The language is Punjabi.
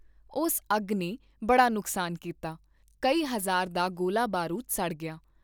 ਉਸ ਅੱਗ ਨੇ ਬੜਾ ਨੁਕਸਾਨ ਕੀਤਾ, ਕਈ ਹਜ਼ਾਰ ਦਾ ਗੋਲਾ ਬਾਰੂਦ ਸੜ ਗਿਆ।